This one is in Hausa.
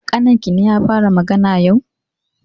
Ƙaninkine ya fara magana yau?